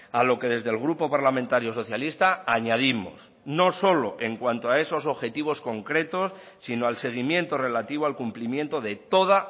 a lo que desde el grupo parlamentario socialista añadimos no solo en cuanto a esos objetivos concretos sino al seguimiento relativo al cumplimiento de toda